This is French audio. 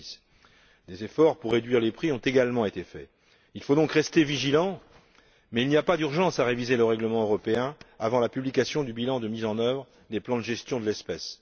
2006. Des efforts pour réduire les prix ont également été réalisés. Il faut donc rester vigilant mais il n'y a pas d'urgence à réviser le règlement européen avant la publication du bilan de mise en œuvre des plans de gestion de l'espèce.